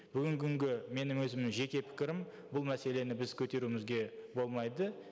бүгінгі күнгі менің өзімнің жеке пікірім бұл мәселені біз көтеруімізге болмайды